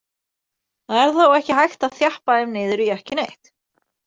Það er þó ekki hægt að þjappa þeim niður í ekki neitt.